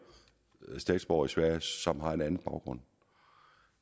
statsborgere i sverige som har en anden baggrund